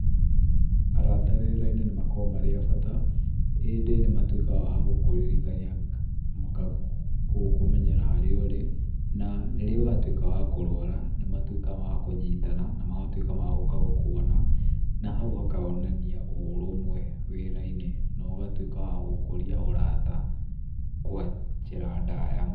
Arata wĩra-inĩ nĩmakoragwo marĩ abata ĩndĩ nĩmatuĩkaga agũkũririkania magakũmenyera harĩa ũrĩ na rĩrĩa watuĩka wa kũrwara. Nĩmatuĩkaga akũnyitana na magatuĩka agũka gũkuona na hau hakonania ũrũmwe wĩra-inĩ, nogatuĩka wa gũkũria ũrata kwa njĩra ndaya.